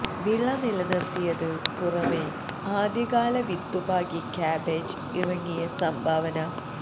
വിള നിലനിർത്തിയത് പുറമേ ആദ്യകാല വിത്തുപാകി ക്യാബേജ് ഇറങ്ങിയ സംഭാവന